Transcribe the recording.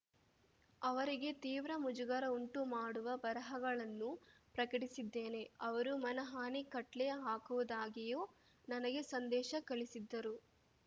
ಅವರಿಗೆ ತೀವ್ರ ಮುಜುಗರ ಉಂಟುಮಾಡುವ ಬರಹಗಳನ್ನೂ ಪ್ರಕಟಿಸಿದ್ದೇನೆ ಅವರು ಮನಹಾನಿ ಖಟ್ಲೆ ಹಾಕುವುದಾಗಿಯೂ ನನಗೆ ಸಂದೇಶ ಕಳಿಸಿದ್ದರು